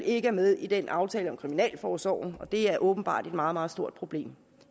ikke er med i den aftale om kriminalforsorgen og det er åbenbart et meget meget stort problem